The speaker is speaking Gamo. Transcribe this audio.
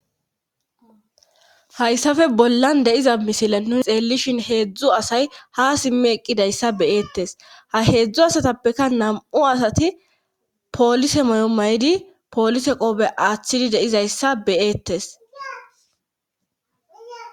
hayssafe bollan de'iza misile nunixeellishin heedzdzu asay ha simmi eqqidayssa beyeettes ha heedzdzu asatappeka nam7u asati poolise moy7o may7di poolise qoobe aaththidi deizayssa beyeettesb